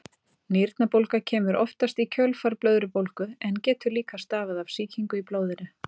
Nýrnabólga kemur oftast í kjölfar blöðrubólgu en getur líka stafað af sýkingu í blóðinu.